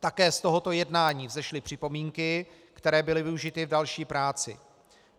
Také z tohoto jednání vzešly připomínky, které byly využity k další práci.